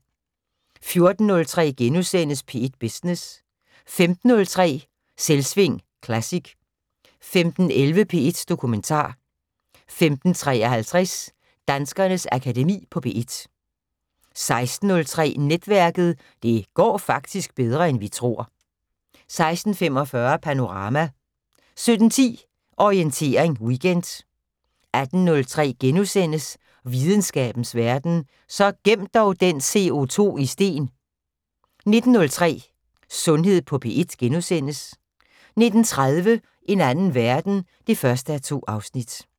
14:03: P1 Business * 15:03: Selvsving Classic 15:11: P1 Dokumentar 15:53: Danskernes Akademi på P1 16:03: Netværket: Det går faktisk bedre end vi tror 16:45: Panorama 17:10: Orientering Weekend 18:03: Videnskabens Verden: Så gem dog den CO2 i sten * 19:03: Sundhed på P1 * 19:30: En anden verden 1:2